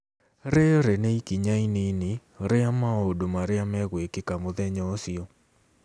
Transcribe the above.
Rĩĩrĩ nĩ ikinya inyinyi rĩa maũndũ marĩa mekwĩkĩka mũthenya ũcio.